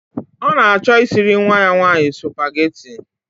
Ọ na-achọ isiri nwa ya nwanyị spugeetí i